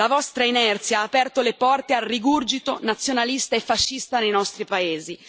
La vostra inerzia ha aperto le porte al rigurgito nazionalista e fascista nei nostri paesi.